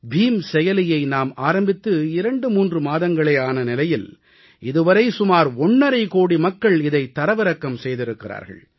beam செயலியை நாம் ஆரம்பித்து 23 மாதங்களே ஆன நிலையில் இதுவரை சுமார் ஒண்ணரை கோடி மக்கள் இதைத் தரவிறக்கம் செய்திருக்கிறார்கள்